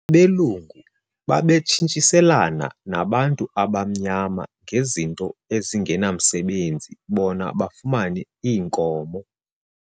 Abelungu babetshintshiselana nabantu abamnyama ngezinto ezingenamsebenzi bona bafumane iinkomo.